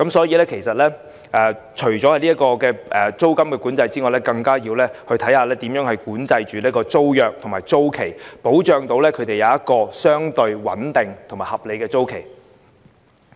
因此，除了租金管制外，其實更要研究如何管制租約和租期，以保障租戶有相對穩定和合理的租期。